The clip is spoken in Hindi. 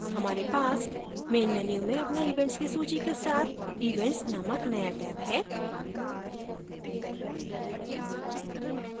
हमारे पास main menu में अपने events की सूची के साथ events नामक नया टैब है